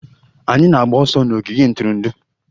Anyị na-agba ọsọ n'ogige ntụrụndụ.